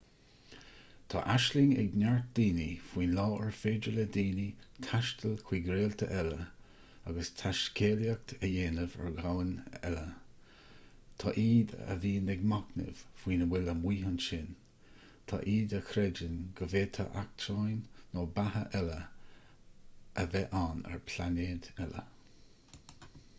tá aisling ag neart daoine faoin lá ar féidir le daoine taisteal chuig réalta eile agus taiscéalaíocht a dhéanamh ar dhomhain eile tá iad a bhíonn ag machnamh faoina bhfuil amuigh ansin tá iad a chreideann go bhféadfadh eachtráin nó beatha eile a bheith ann ar phláinéad eile